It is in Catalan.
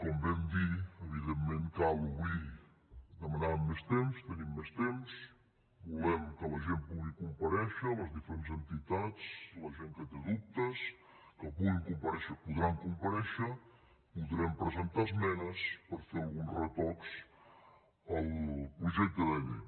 com vam dir evidentment cal obrir demanàvem més temps tenim més temps volem que la gent pugui comparèixer les diferents entitats la gent que té dubtes que puguin comparèixer podran comparèixer podrem presentar esmenes per fer alguns retocs al projecte de llei